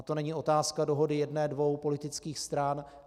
A to není otázka dohody jedné dvou politických stran.